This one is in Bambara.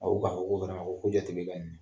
ko ko jateli bɛ nin na.